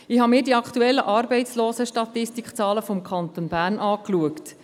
Ich habe mir die aktuellen Arbeitslosenstatistikzahlen des Kantons Bern angeschaut.